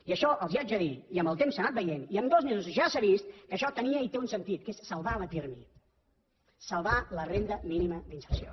i això els ho haig de dir i amb el temps s’ha anat veient i amb dos mesos ja s’ha vist que això tenia i té un sentit que és salvar la pirmi salvar la renda mínima d’inserció